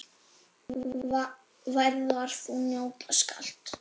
Værðar þú njóta skalt.